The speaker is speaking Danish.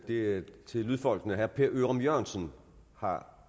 det er til lydfolkene herre per ørum jørgensen har